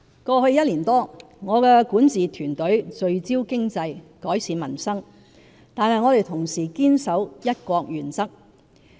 過去一年多，我的管治團隊聚焦經濟，改善民生，但我們同時堅守"一國"原則。